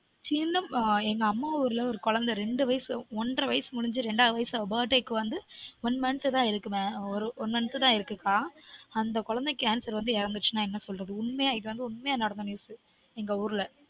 இல்லக்கா எங்க அம்மா ஊர்ல ஒரு குழந்தை ரெண்டு வயசு ஒன்ற வயசு முடிஞ்சு ரெண்டாவது வயசு அவ birthday க்கு வந்து one month தான் இருக்கு கா அந்த குழந்தை cancer வந்து இறந்தசுனா என்ன சொல்றது உண்மையா இது வந்து உண்மையா நடந்த news எங்க ஊர்ல